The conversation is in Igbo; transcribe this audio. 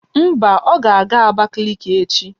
Mba, ọ ga-aga Abakaliki echi